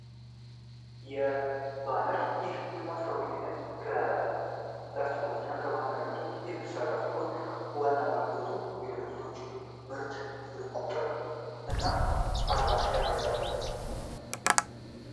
የ ባነር ይህ የማስታወቂያ ዓይነት ከ ላስቲኮች እና ከማተሚያ ቤቶች የሚሠራ ሲሆን፤ ዋና አገልግሎቱ የድርጅቶቹን ምርት፣ ስልክ ቁጥር እና አድራሻ የያዘ ነው።